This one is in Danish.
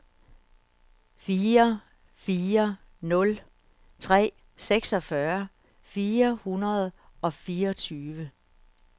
fire fire nul tre seksogfyrre fire hundrede og fireogtyve